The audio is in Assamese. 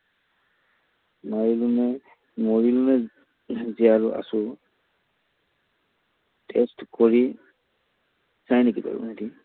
মাৰিলো নে, মৰিলো নে, জীয়াই আছো test কৰি চাই নেকি বাৰু সিহঁতি?